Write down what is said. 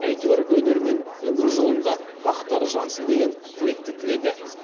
әйтеуір өнер мен өмір жолында бақтары жансын деген тілекті тіледі